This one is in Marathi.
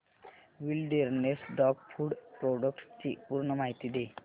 विलडेरनेस डॉग फूड प्रोडक्टस ची पूर्ण माहिती दे